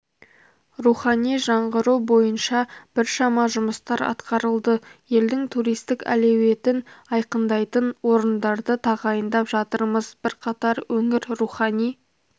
рухани жаңғыру бойынша біршама жұмыстар атқарылды елдің туристік әлеуетін айқындайтын орындарды тағайындап жатырмыз бірқатар өңір рухани